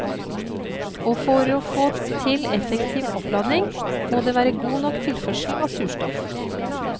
Og for å få til effektiv oppladning, må det være god nok tilførsel av surstoff.